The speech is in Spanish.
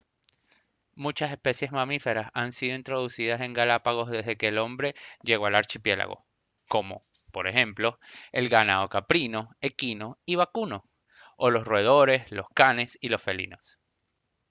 muchas especies mamíferas han sido introducidas en galápagos desde que el hombre llegó al archipiélago como por ejemplo el ganado caprino equino y vacuno o los roedores lo canes y los felinos